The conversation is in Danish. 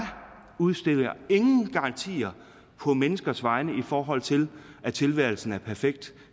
udstikker ingen garantier på menneskers vegne i forhold til at tilværelsen er perfekt